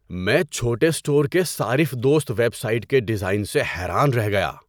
میں چھوٹے اسٹور کے صارف دوست ویب سائٹ کے ڈیزائن سے حیران رہ گیا۔